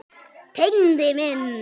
Tengdi minn.